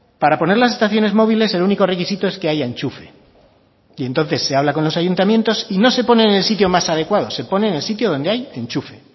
para poner las estaciones móviles el único requisito es que haya enchufe y entonces se habla con los ayuntamientos y no se pone en el sitio más adecuado se pone en el sitio donde hay enchufe